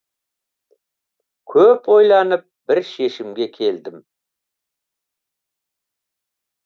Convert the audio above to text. көп ойланып бір шешімге келдім